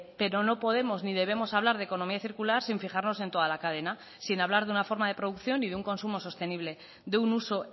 pero no podemos ni debemos hablar de economía circular sin fijarnos en toda la cadena sin hablar de una forma de producción y de un consumo sostenible de un uso